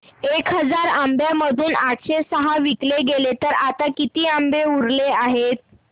एक हजार आंब्यांमधून आठशे सहा विकले गेले तर आता किती आंबे उरले आहेत